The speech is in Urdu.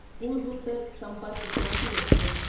پورووتر سمپرک کرانتی ایکسپریس